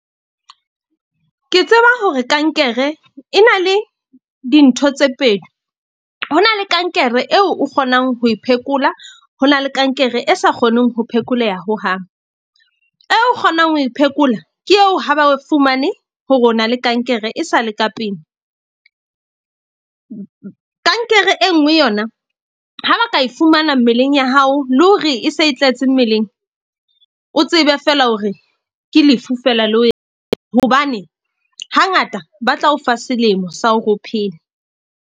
Ke tseba hore kankere e na le dintho tse pedi. Ho na le kankere eo o kgonang ho e phekola. Ho na le kankere e sa kgoneng ho phekoleha hohang. E kgonang ho e phekola, ke eo ha ba fumane hore ona le kankere e sa le ka pele. Kankere e nngwe yona ha ba ka e fumana mmeleng ya hao le hore e se e tletse mmeleng. O tsebe fela hore ke lefu fela le . Hobane hangata ba tla o fa selemo sa hore o phele.